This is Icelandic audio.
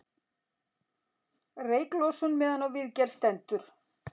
Reyklosun meðan á viðgerð stendur